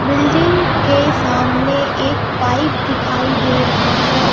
Building के सामने एक पाइप दिखाई दे रहा है.